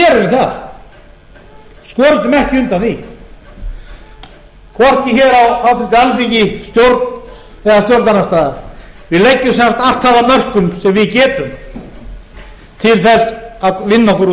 þá gerum við það skorumst ekki undan því hvorki hér á háttvirtu alþingi stjórn eða stjórnarandstaðan við leggjum sem sagt allt það að mörkum sem við getum til þess að vinna okkur út úr